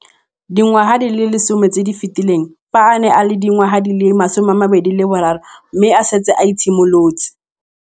Dingwaga di le 10 tse di fetileng, fa a ne a le dingwaga di le 23 mme a setse a itshimoletse